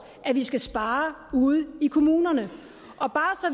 at vi skal spare ude i kommunerne